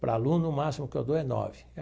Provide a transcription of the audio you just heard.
Para aluno, o máximo que eu dou é nove.